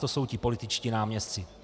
To jsou ti političtí náměstci.